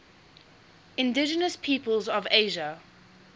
indigenous peoples of asia